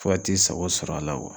Fo ka t'i sago sɔr'a la